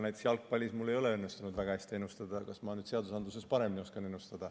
Näiteks jalgpallis mul ei ole õnnestunud väga hästi ennustada, kas ma nüüd seadusandluses paremini oskan.